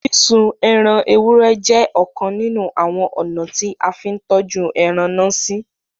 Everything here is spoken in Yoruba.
Sísún ẹran èwúrẹ̀ jẹ̀ ọ̀kàn nínu awọn ọna tí a n fì n tọ́jú ẹran násí.